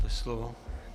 Máte slovo.